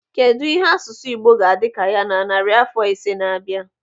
Kedụ ihe asụsụ Igbo ga-adị ka ya na narị afọ ise na na-abịa?